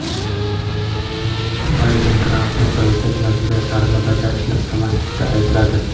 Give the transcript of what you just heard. Bayden Trampni prezident majburiyatlarini bajarishni istamaslikda aybladi.